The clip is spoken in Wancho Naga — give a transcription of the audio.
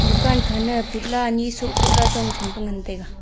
dukan khana putla ni sho ko la jong tham pe ngan taiga.